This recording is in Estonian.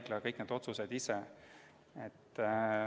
Ta peab kõik need otsused ise tegema.